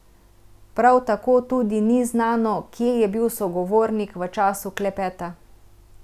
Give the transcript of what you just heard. Prav tako tudi ni znano, kje je bil sogovornik v času klepeta.